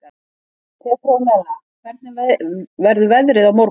Petrónella, hvernig verður veðrið á morgun?